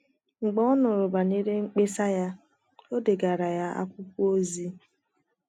Mgbe ọ nụrụ banyere mkpesa ya, o degaara ya akwụkwọ ozi.